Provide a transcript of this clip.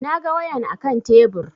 Na ga wayan a kan tebur